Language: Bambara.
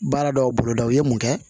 Baara dɔw boloda u ye mun kɛ